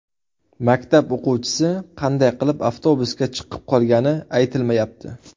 Maktab o‘quvchisi qanday qilib avtobusga chiqib qolgani aytilmayapti.